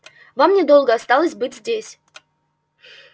вам недолго осталось быть здесь